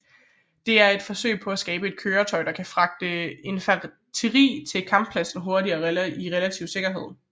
De er et forsøg på at skabe et køretøj der kan fragte infanteri til kamppladsen hurtigt i relativ sikkerhed